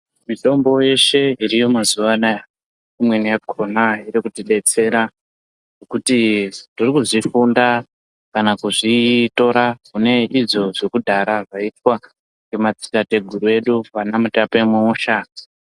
Mitombo yeshe iriyo mazuwa ano aya, imweni yakona iri kutidetsera ngekuti tiri kuzvifunda kana kuzvitora mune izvo zvekudhara zvaiitwa ngemadzitateguru edu ana Mutape Muusha!